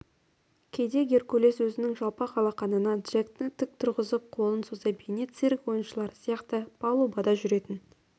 кейде геркулес өзінің жалпақ алақанына джекті тік тұрғызып қолын соза бейне цирк ойыншылары сияқты палубада жүретін